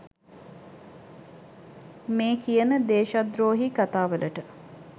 මේ කියන දේශද්‍රෝහී කතා වලට.